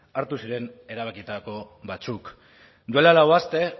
hartu ziren erabakitako batzuk duela lau aste